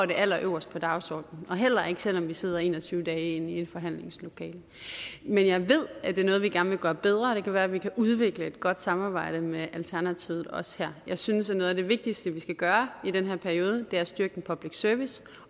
det allerøverst på dagsordenen heller ikke selv om vi sidder en og tyve dage inde i et forhandlingslokale men jeg ved at det er noget vi gerne vil gøre bedre og det kan være at vi kan udvikle et godt samarbejde med alternativet også her jeg synes at noget af det vigtigste vi skal gøre i den her periode er at styrke public service